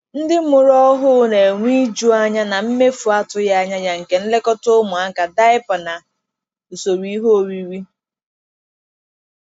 Ndị mụrụ ọhụ na-enwe iju anya na mefu atụghị anya ya nke nlekọta ụmụaka, diapa, na usoro ihe oriri.